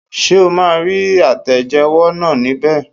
Ṣé o maa rí àtẹ̀jẹ́wọ́ náà ní bẹ̀